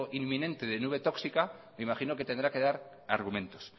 inminente de nube tóxica me imagino que tendrá que dar argumentos